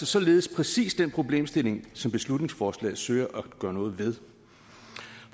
således præcis den problemstilling som beslutningsforslaget søger at gøre noget ved